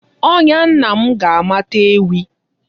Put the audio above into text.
Ọnya nna m ga-amata ewi.